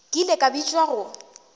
ke ile ka bitšwa go